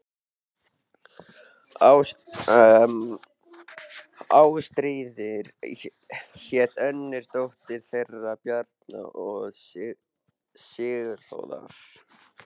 Ástríður hét önnur dóttir þeirra Bjarna og Sigurfljóðar.